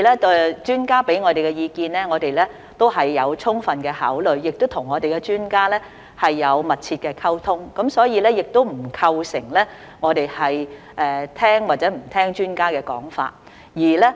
第二，專家給予我們的意見，我們都有充分考慮，我們亦有與專家密切溝通，所以並不存在我們聽不聽從專家說法的問題。